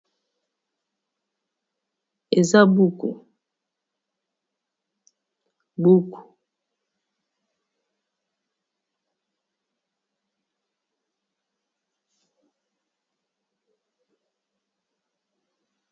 Oyo eza buku, buku ya bana kelasi.